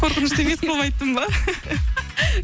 қорқынышты емес қылып айттым ба